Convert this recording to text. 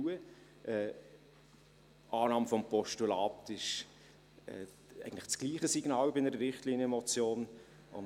Die Annahme des Postulats ist bei einer Richtlinienmotion eigentlich dasselbe Signal.